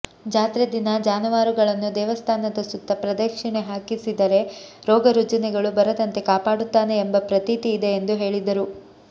ಜಾತ್ರೆ ದಿನ ಜಾನುವಾರುಗಳನ್ನು ದೇವಸ್ಥಾನದ ಸುತ್ತ ಪ್ರದಕ್ಷಿಣೆ ಹಾಕಿಸಿದರೆ ರೋಗರುಜಿನಗಳು ಬರದಂತೆ ಕಾಪಾಡುತ್ತಾನೆ ಎಂಬ ಪ್ರತೀತಿ ಇದೆ ಎಂದು ಹೇಳಿದರು